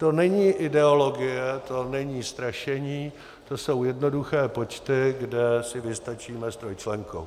To není ideologie, to není strašení, to jsou jednoduché počty, kde si vystačíme s trojčlenkou.